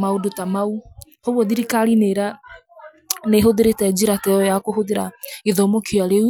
maũndũ ta mau. Uguo thirikari nĩ ira, nĩ ĩhũthĩrĩte njĩra ta ĩyo ya kũhũthĩra gĩthomo kĩa rĩu